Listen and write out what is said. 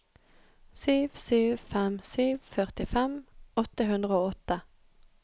sju sju fem sju førtifem åtte hundre og åtte